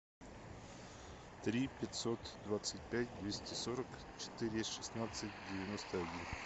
три пятьсот двадцать пять двести сорок четыре шестнадцать девяносто один